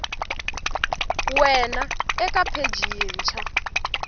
ya wena eka pheji yintshwa